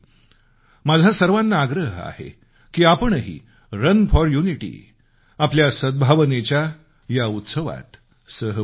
माझा सर्वांना आग्रह आहे की आपणही रन फॉर युनिटी आपल्या सद्भावनेच्या या उत्सवात सहभागी व्हावं